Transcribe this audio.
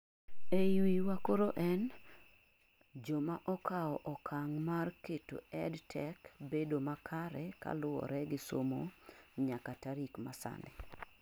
eii wiwa koro en , joma okao okang' mar keto EdTech bedo makare kaluworegi somo nyaka tarik masani